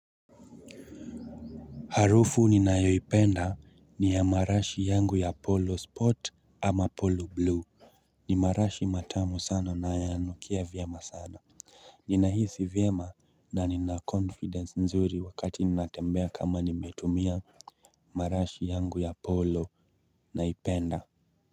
Harufu ninayoipenda ni ya marashi yangu ya polo sport ama polo blue ni marashi matamu sana na yanukia vyema sana Ninahisi vyema na ni na confidence nzuri wakati ni natembea kama nimetumia marashi yangu ya polo naipenda.